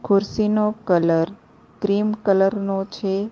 ખુરસીનો colour cream colour નો છે.